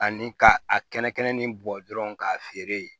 Ani ka a kɛnɛ kɛnɛ nin bɔ dɔrɔn k'a feere yen